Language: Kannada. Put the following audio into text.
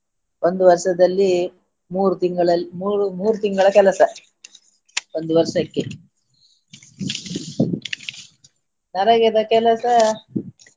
ಒಂದು ವರ್ಷದಲ್ಲಿ ಮೂರು ತಿಂಗಳಲ್ಲಿ ಮೂರು ಮೂರು ತಿಂಗಳ ಕೆಲಸ ಒಂದು ವರ್ಷಕ್ಕೆ ನರೇಗದ ಕೆಲಸ.